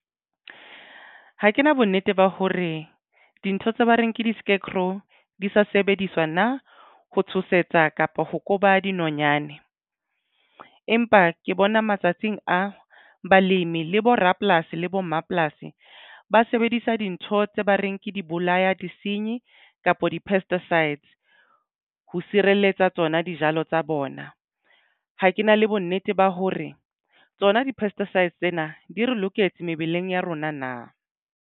Ha ke na bonnete ba hore dintho tse ba reng ke di-scarecrow di sa sebediswa na ho tshosetsa kapa ho koba dinonyane. Empa ke bona matsatsing a balemi le bo rapolasi le bo mmapolasi ba sebedisa dintho tse ba reng ke di bolaya di senyi kapa di-pesticides ho sireletsa tsona dijalo tsa bona. Ha ke na le bonnete ba hore tsona di-pesticides tsena di re loketse mebeleng ya rona.